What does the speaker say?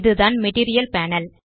இதுதான் material panel